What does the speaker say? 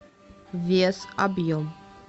вес объем